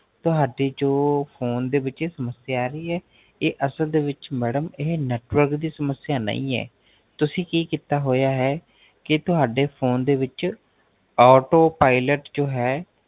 ਤੁਹਾਡੀ ਜੋ Phone ਦੇ ਵਿੱਚ ਸਮਸਿਆ ਆ ਰਹੀ ਹੈ ਇਹ ਅਸਲ ਦੇ ਵਿੱਚ Madam Network ਦੀ ਸਮਸਿਆ ਨਹੀਂ ਹੈ ਤੁਸੀਂ ਕੀ ਕੀਤਾ ਹੋਇਆ ਹੈ ਕਿ ਤੁਹਾਡੇ Phone ਦੇ ਵਿੱਚ Auto Pailot ਜੋ ਹੈ